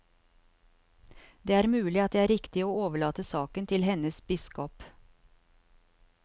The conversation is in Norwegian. Det er mulig at det er riktig å overlate saken til hennes biskop.